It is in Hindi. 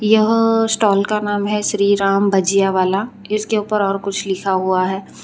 यह स्टॉल का नाम है श्री राम भजिया वाला इसके ऊपर और कुछ लिखा हुआ है।